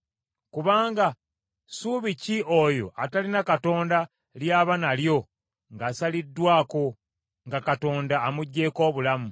Kubanga ssuubi ki oyo atalina Katonda ly’aba nalyo ng’asaliddwako, nga Katonda amuggyeko obulamu?